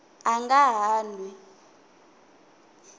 a nga ha n wi